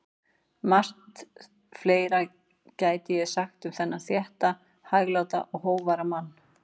Margt fleira gæti ég sagt um þennan þétta, hægláta og hógværa mann.